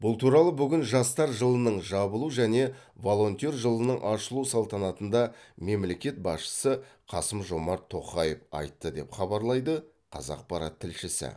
бұл туралы бүгін жастар жылының жабылу және волонтер жылының ашылу салтанатында мемлекет басшысы қасым жомарт тоқаев айтты деп хабарлайды қазақпарат тілшісі